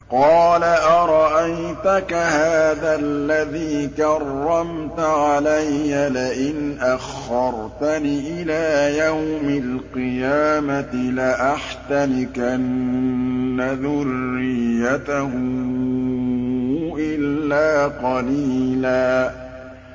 قَالَ أَرَأَيْتَكَ هَٰذَا الَّذِي كَرَّمْتَ عَلَيَّ لَئِنْ أَخَّرْتَنِ إِلَىٰ يَوْمِ الْقِيَامَةِ لَأَحْتَنِكَنَّ ذُرِّيَّتَهُ إِلَّا قَلِيلًا